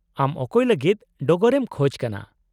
-ᱟᱢ ᱚᱠᱚᱭ ᱞᱟᱹᱜᱤᱫ ᱰᱚᱜᱚᱨᱮᱢ ᱠᱷᱚᱪ ᱠᱟᱱᱟ ?